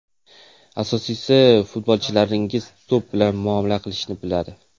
Asosiysi, futbolchilaringiz to‘p bilan muomala qilishni biladi.